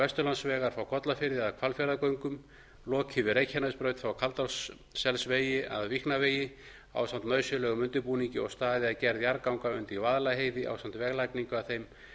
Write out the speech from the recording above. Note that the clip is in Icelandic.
vesturlandsvegar frá kollafirði að hvalfjarðargöngum lokið við reykjanesbraut frá kaldárselsvegi að víknavegi ásamt nauðsynlegum undirbúningi og staðið að gerð jarðganga undir vaðlaheiði ásamt vegalagningu að þeim